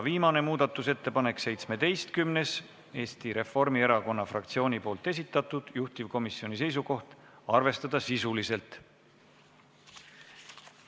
Viimane muudatusettepanek, nr 17, Eesti Reformierakonna fraktsiooni esitatud, juhtivkomisjoni seisukoht: arvestada sisuliselt.